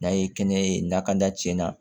N'a ye kɛnɛ ye na ka da cɛn na